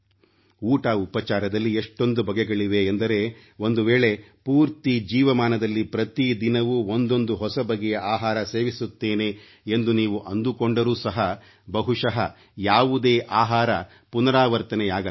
ಊಟಉಪಚಾರದಲ್ಲಿ ಎಷ್ಟೊಂದು ಬಗೆಗಳಿವೆ ಎಂದರೆ ಒಂದು ವೇಳೆ ಪೂರ್ತಿ ಜೀವಮಾನದಲ್ಲಿ ಪ್ರತಿ ದಿನವೂ ಒಂದೊಂದು ಹೊಸ ಬಗೆಯ ಆಹಾರ ಸೇವಿಸುತ್ತೇನೆ ಎಂದು ಅಂದುಕೊಂಡರೂ ಸಹ ಬಹುಶಃ ಯಾವುದೇ ಆಹಾರ ಪುನರಾವರ್ತನೆಯಾಗಲಾರದು